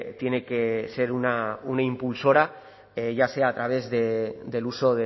tiene que ser una impulsora ya sea a través del uso